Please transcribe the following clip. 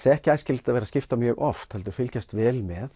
ekki æskilegt að vera að skipta mjög oft heldur fylgjast vel með